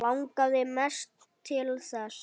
Langaði mest til þess.